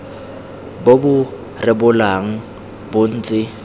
bo bo rebolang bo ntse